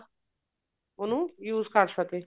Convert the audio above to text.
ਉਹਨੂੰ use ਕ਼ਰ ਸਕੇ